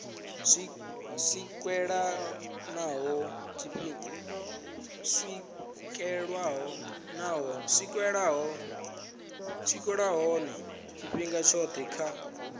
swikelelwa nahone tshifhinga tshothe kha